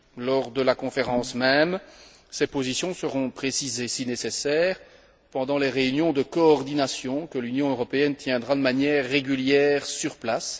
Lors de la conférence même, ces positions seront précisées si nécessaire pendant les réunions de coordination que l'Union européenne tiendra de manière régulière sur place.